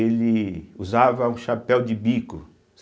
Ele usava um chapéu de bico.